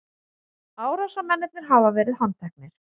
Árásarmennirnir hafa verið handteknir